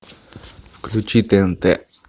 включи тнт